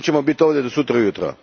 Mi ćemo biti ovdje do sutra ujutro.